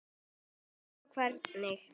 Hann sá hvernig